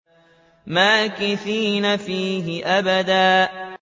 مَّاكِثِينَ فِيهِ أَبَدًا